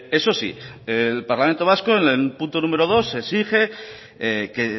eso sí el parlamento vasco en el punto número dos se exige que